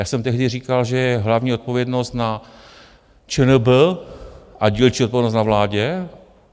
Já jsem tehdy říkal, že je hlavní odpovědnost na ČNB a dílčí odpovědnost na vládě.